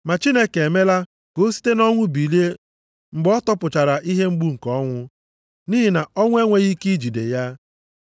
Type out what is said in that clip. Ma Chineke emela ka o site nʼọnwụ bilie mgbe ọ tọpụchara ihe mgbu nke ọnwụ, nʼihi na ọnwụ enweghị ike ijide ya.